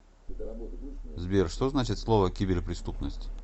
сбер что значит слово киберпреступность